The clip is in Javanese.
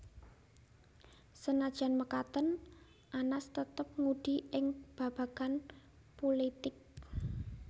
Sanajan mekaten Anas tetep ngudi ing babagan pulitik